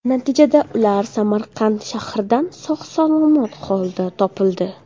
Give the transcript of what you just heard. Natijada ular Samarqand shahridan sog‘-salomat holda topildi.